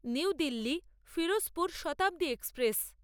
new Delhi Firozpur Shatabdi express